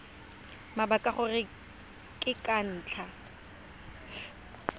mabaka gore ke ka ntlha